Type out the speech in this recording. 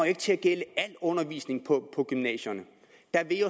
ikke til at gælde al undervisning på gymnasierne der vil